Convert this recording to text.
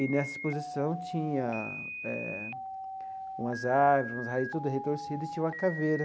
E, nessa exposição, tinha eh umas árvores, umas raízes tudo retorcida e tinha uma caveira.